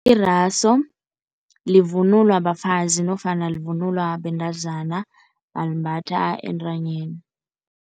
Iraso livunulwa bafazi nofana livunulwa bentazana balimbatha entanyeni.